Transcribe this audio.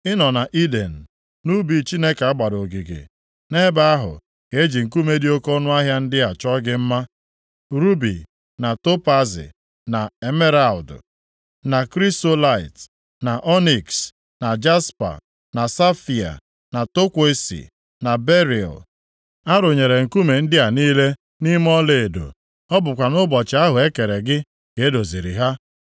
Ị nọ nʼIden, nʼubi Chineke a gbara ogige. Nʼebe ahụ ka e ji nkume dị oke ọnụahịa ndị a chọọ gị mma, rubi, + 28:13 Maọbụ, kanelien na topaazi, na emeralụdụ, na krisolaịt, na ọniks, na jaspa, na safaia, na tọkwọisi, na beril. A rụnyere nkume ndị a niile nʼime ọlaedo. Ọ bụkwa nʼụbọchị ahụ e kere gị ka e doziri ha.